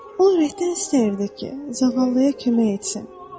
O ürəkdən istəyirdi ki, zağallıya kömək etsin.